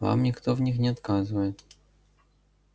вам никто в них не отказывает